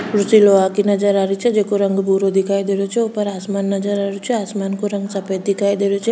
कुर्सी लोहा की नजर आ रही छे जिको रंग भूरो दिखाई दे रो छे ऊपर आसमान नजर आरो छे आसमान को रंग सफेद दिखाई दे रो छ।